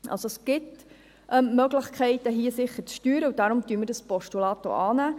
Es gibt Möglichkeiten zu steuern, und deswegen nehmen wir das Postulat an.